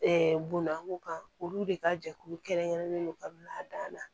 bonna ko kan olu de ka jɛkulu kɛrɛn kɛrɛnnen don ka bila dan na